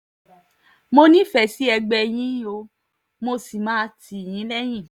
mo nífẹ̀ẹ́ sí ẹgbẹ́ yín o mo sì máa tì yín lẹ́yìn